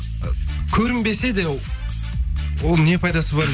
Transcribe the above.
көрінбесе де оның не пайдасы бар деймін